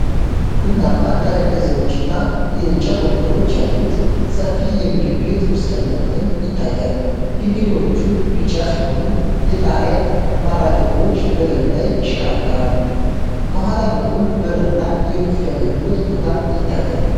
ቡናማ ጠረጴዛዎች እና የእንጨት ወንበሮች ያሉት ሰፊ የምግብ ቤት ውስጠኛ ክፍል ይታያል። ግድግዳዎቹ ቢጫ ሲሆኑ፣ የጣሪያ ማራገቢያዎች በላዩ ላይ ይሽከረከራሉ። ከኋላ በኩል በር እና የቡፌ አገልግሎት ቦታ ይታያል።